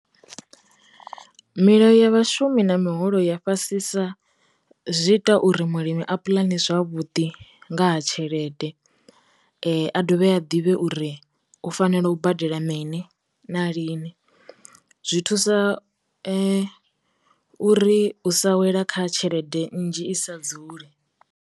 Milayo ya vhashumi na miholo ya fhasisa zwi ita uri mulimi a pulani zwavhuḓi nga ha tshelede, a dovhe a ḓivhe u uri u fanela u badela mini na lini, zwi thusa u ri sa wela kha tshelede nnzhi i sa dzuli.